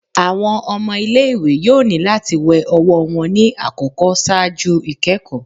Awọn ọmọ ile-iwe yoo ni lati wẹ ọwọ wọn ni akọkọ ṣaaju ikẹkọ